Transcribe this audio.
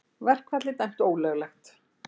Verkfallið dæmt ólöglegt